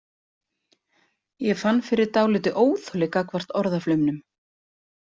Ég fann fyrir dálitlu óþoli gagnvart orðaflaumnum.